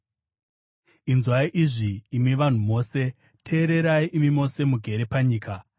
Inzwai izvi, imi vanhu mose; teererai imi mose mugere panyika,